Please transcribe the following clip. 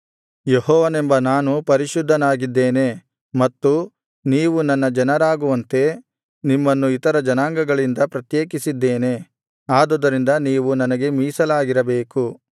ಯೆಹೋವನೆಂಬ ನಾನು ಪರಿಶುದ್ಧನಾಗಿದ್ದೇನೆ ಮತ್ತು ನೀವು ನನ್ನ ಜನರಾಗುವಂತೆ ನಿಮ್ಮನ್ನು ಇತರ ಜನಾಂಗಗಳಿಂದ ಪ್ರತ್ಯೇಕಿಸಿದ್ದೇನೆ ಆದುದರಿಂದ ನೀವು ನನಗೆ ಮೀಸಲಾಗಿರಬೇಕು